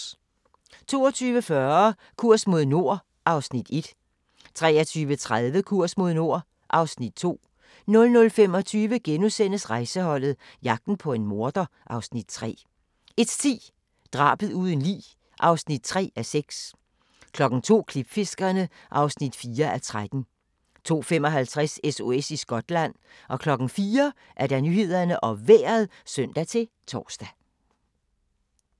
22:40: Kurs mod nord (Afs. 1) 23:30: Kurs mod nord (Afs. 2) 00:25: Rejseholdet - jagten på en morder (Afs. 3)* 01:10: Drabet uden lig (3:6) 02:00: Klipfiskerne (4:13) 02:55: SOS i Skotland 04:00: Nyhederne og Vejret (søn-tor)